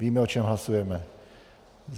Víme, o čem hlasujeme.